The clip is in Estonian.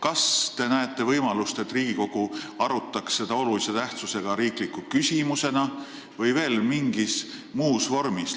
Kas te näete võimalust, et Riigikogu arutaks seda olulise tähtsusega riikliku küsimusena, või võiks seda teha mingis muus vormis?